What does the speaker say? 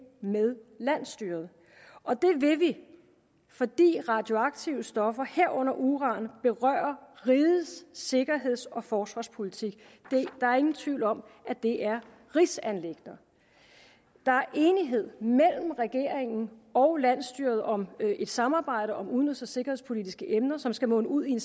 med landsstyret og det vil vi fordi radioaktive stoffer herunder uran berører rigets sikkerheds og forsvarspolitik der er ingen tvivl om at det er rigsanliggender der er enighed mellem regeringen og landsstyret om et samarbejde om udenrigs og sikkerhedspolitiske emner som skal munde ud i